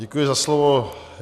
Děkuji za slovo.